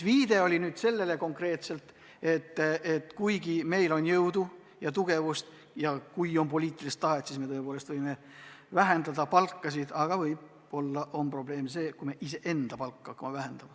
See oli viide konkreetselt sellele, et meil on jõudu ja tugevust ja kui on poliitilist tahet, siis me tõepoolest võime vähendada palka, aga võib-olla on probleem see, kui me iseenda palka hakkame vähendama.